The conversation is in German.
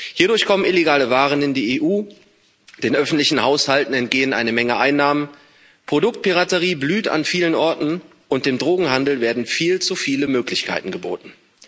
Hierdurch kommen illegale Waren in die EU, den öffentlichen Haushalten entgehen eine Menge Einnahmen, Produktpiraterie blüht an vielen Orten, und dem Drogenhandel werden viel zu viele Möglichkeiten geboten.